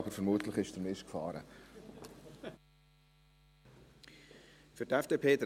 Aber vermutlich ist der Mist geführt.